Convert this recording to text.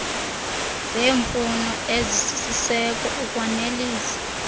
zeemfuno ezisisiseko ukwanelisa